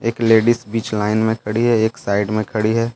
एक लेडिस बीच लाइन में खड़ी हैएक साइड में खड़ी है।